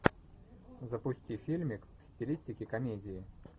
запусти фильмик в стилистике комедии